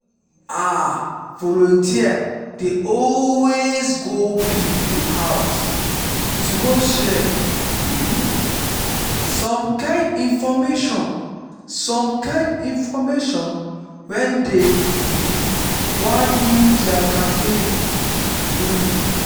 ah! volunteers dey always go people house to go share um some kind infomation some kind infomation when dey um wan do their campaigns. um